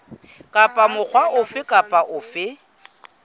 kapa mokga ofe kapa ofe